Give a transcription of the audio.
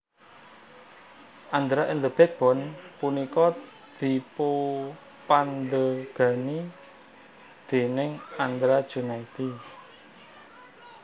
Andra and The BackBone punika dipupandhegani déning Andra Junaidi